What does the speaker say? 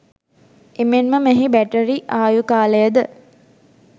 එමෙන්ම මෙහි බැටරි ආයු කාලයද